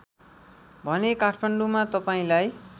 भने काठमाडौँमा तपाईँलाई